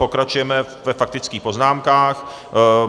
Pokračujeme ve faktických poznámkách.